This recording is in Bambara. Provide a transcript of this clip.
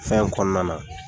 Fɛn kɔnɔna na